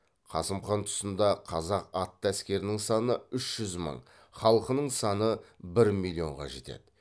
қасым хан тұсында қазақ атты әскерінің саны үш жүз мың халқының саны бір миллионға жетеді